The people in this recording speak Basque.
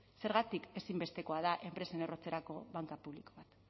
zergatik ezinbestekoa da enpresen errotzerako banka publiko bat